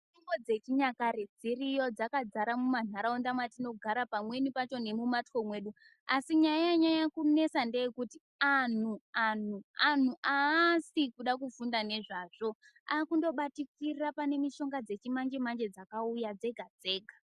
Mitombo dzechinyakare dziriyo dzakazara mumandaraunda matinogara pamweni pacho nemumbatso mwedu asi nyaya yanyanya kunesa ndeyekuti antu aasi kuda kufunda nezvazvo ,akundobatikira mushonga dzechimanje manje dzakauya dzega dzega .